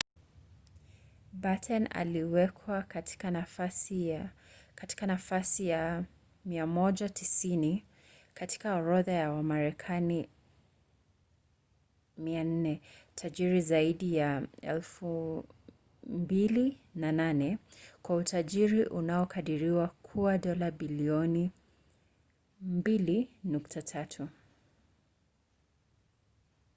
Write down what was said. batten aliwekwa katika nafasi ya 190 katika orodha ya wamarekani 400 tajiri zaidi ya 2008 kwa utajiri unaokadiriwa kuwa dola bilioni 2.3